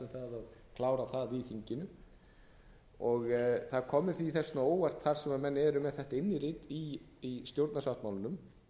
sátt um að klára það í þinginu það kom mér þess vegna á óvart þar sem menn eru með þetta innirit í stjórnarsáttmálanum